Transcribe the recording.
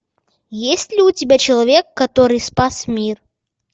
есть ли у тебя человек который спас мир